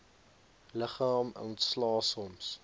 liggaam ontslae soms